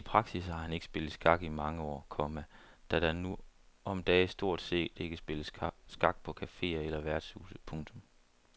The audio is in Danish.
I praksis har han ikke spillet skak i mange år, komma da der nu om dage stort set ikke spilles skak på caféer eller værtshuse. punktum